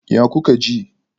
Ya kuke ji?